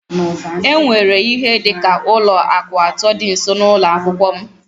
E nwere ihe dị ka ụlọ akụ atọ dị nso n'ụlọ akwụkwọ m